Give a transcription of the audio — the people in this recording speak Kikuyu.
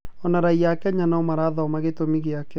Oho raiya ya Kenya no ĩrathoma gĩtũmi gĩake.